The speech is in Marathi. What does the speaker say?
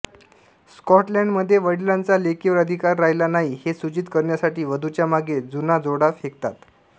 स्काटलैंडमध्ये वडिलांचा लेकीवर अधिकार राहिला नाही हे सूचित करण्यासाठी वधूच्या मागे जुना जोडा फेकतात